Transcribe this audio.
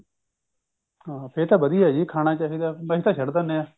ਹਾਂ ਫੇਰ ਤਾਂ ਵਧੀਆ ਜੀ ਖਾਣਾ ਚਾਹਿਦਾ ਨਹੀਂ ਤਾਂ ਸਿੱਟ ਦੇਣੇ ਆ